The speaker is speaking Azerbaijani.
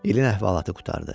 İlin əhvalatı qurtardı.